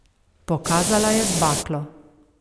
Pokazala je z baklo.